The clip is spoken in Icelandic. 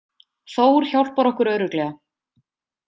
Þór hjálpar okkur örugglega.